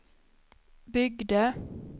byggde